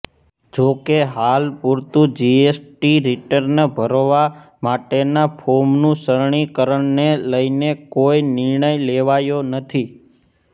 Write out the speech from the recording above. જોકે હાલપૂરતું GST return ભરવા માટેના ફોર્મનું સરળીકરણને લઇને કોઇ નિર્ણય લેવાયો નથી